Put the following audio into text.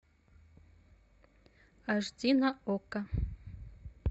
аш ди на окко